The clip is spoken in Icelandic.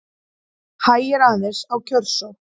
Hægir aðeins á kjörsókn